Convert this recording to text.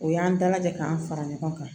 O y'an dalajɛ k'an fara ɲɔgɔn kan